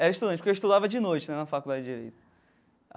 Era estudante, porque eu estudava de noite né na Faculdade de Direito.